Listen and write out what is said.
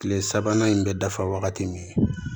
Kile sabanan in bɛ dafa wagati min